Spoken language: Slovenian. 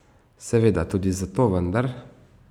Seveda, tudi zato, vendar...